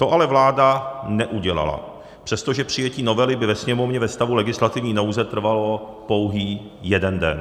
To ale vláda neudělala, přestože přijetí novely by ve Sněmovně ve stavu legislativní nouze trvalo pouhý jeden den.